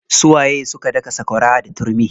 Su waye suka daka sakwara da turmi?